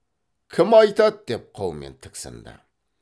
кім айтады деп қаумен тіксінді